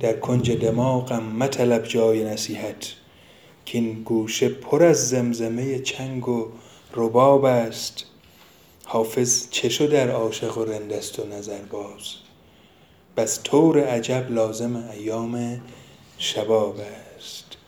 در کنج دماغم مطلب جای نصیحت کـ این گوشه پر از زمزمه چنگ و رباب است حافظ چه شد ار عاشق و رند است و نظرباز بس طور عجب لازم ایام شباب است